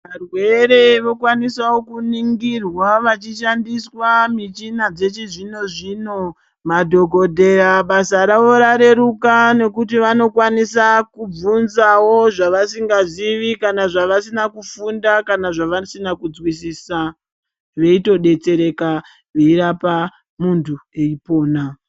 Varwere vokwanisawo kuningirwa vachishandiswa michina yechizvino zvino, madhokodheya basa ravo rareruka nekuti vanokwanisa kubvunzawo zvavasingazivi kana zvavasina kufunda kana zvavasina kunzwisisa veitodetsereka veirapa muntu eipona.